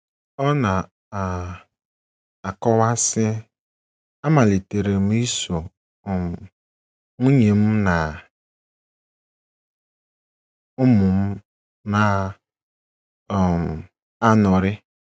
Ọ na - um akọwa, sị: “ Amalitere m iso um nwunye m na ụmụ m na - um anọrị.